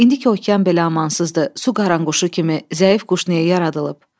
İndi ki okean belə amansızdır, su qaranquşu kimi zəif quş niyə yaradılıb?